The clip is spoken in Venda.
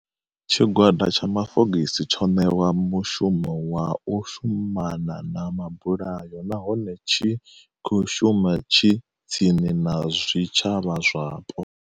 Tshigwada tsha mafogisi tsho ṋewa mushumo wa u shumana na mabulayo nahone tshi khou shuma tshi tsini na zwi tshavha zwapo.